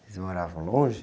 Eles moravam longe?